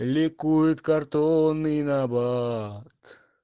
ликует картонный набат